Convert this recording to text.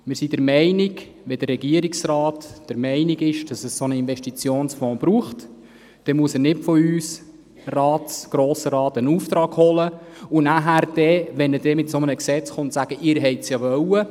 Wir sind der Meinung, wenn der Regierungsrat der Meinung ist, es brauche einen Investitionsfonds, müsse er nicht bei uns, dem Grossen Rat, einen Auftrag abholen und nachher, wenn er ein entsprechendes Gesetz vorlegt, sagen, wir hätten dieses ja gewollt.